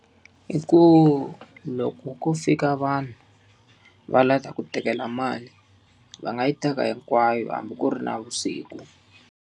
I ku loko ko fika vanhu va lava ku tekela mali, va nga yi teka hinkwayo hambi ku ri navusiku.